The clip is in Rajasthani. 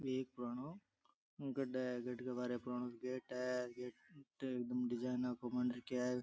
एक पुरानो गड है गड के बारे पुरानो गेट है गेट डिज़ाइना को बन रखयो है।